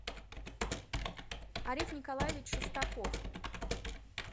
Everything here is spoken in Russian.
ариф николаевич шестаков